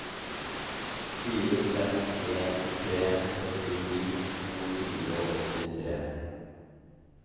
fire fem en tre syttini to hundre og åttitre